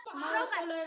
Þúsund sinnum takk.